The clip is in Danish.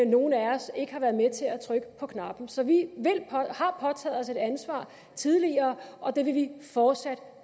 nogle af os ikke har været med til at trykke på knappen så vi har påtaget os et ansvar tidligere og det vil vi fortsat